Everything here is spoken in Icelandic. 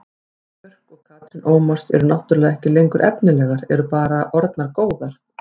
Guðný Björk og Katrín Ómars eru náttúrulega ekki lengur efnilegar, eru bara orðnar góðar.